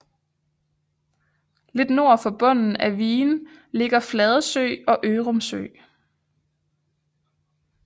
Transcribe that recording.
Lidt nord for bunden af vigen ligger Flade Sø og Ørum Sø